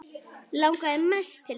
Langaði mest til þess.